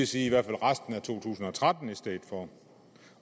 sige resten af to tusind og tretten i stedet for